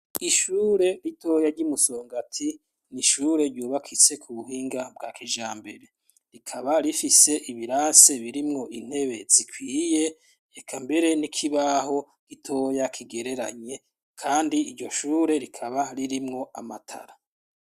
Ishure ritoya ry'iMusongati n'ishure ryubakitse kubuhinga bwa kijambere, rikaba rifise ibirase birimwo intebe zikwiye eka mbere n'ikibaho gitoya kigereranye kandi iryo shure rikaba ririmwo amatara.